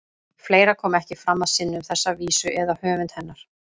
Fleira kom ekki fram að sinni um þessa vísu eða höfund hennar.